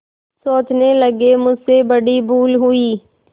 सोचने लगेमुझसे बड़ी भूल हुई